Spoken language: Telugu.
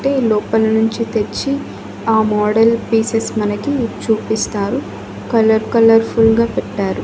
అంటే లోపల నుంచి తెచ్చి ఆ మోడల్ పీసెస్ మనకి చూపిస్తారు కలర్ కలర్ ఫుల్ గా పెట్టారు.